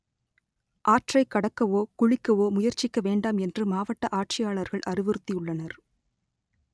ஆற்றை கடக்கவோ குளிக்கவோ முயற்சிக்க வேண்டாம் என்று மாவட்ட ஆட்சியாளர்கள் அறிவுறுத்தியுள்ளனர்